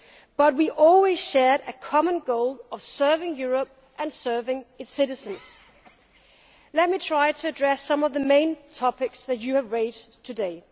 But we always share a common goal of serving Europe and serving its citizens. Let me try to address some of the main topics which you have raised today.